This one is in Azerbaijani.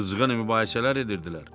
Qızğın mübahisələr edirdilər.